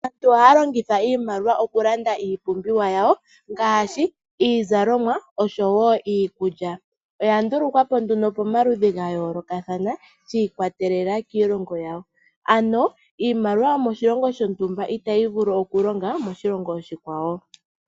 Aantu ohaya longitha iimaliwa okulanda iipumbiwa yawo ngaashi iizalomwa osho woo iikulya oya ndulukwapo nduno pomaludhi gayoolokathana shi ikwatelela kiilongo yawo. Ano imaliwa yoshilongo shontumba itayi vulu okulonga moshilongo oshikwawo.